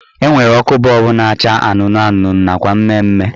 Enwere ọkụ bọọbụ na-acha anụnụ anụnụ nakwa mmemme